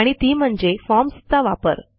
आणि ती म्हणजे फॉर्म्स चा वापर